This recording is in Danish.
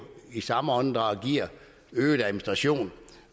i samme åndedrag øget administration